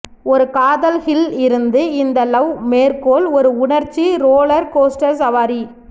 ஒரு காதல் ஹில் இருந்து இந்த லவ் மேற்கோள் ஒரு உணர்ச்சி ரோலர் கோஸ்டர் சவாரி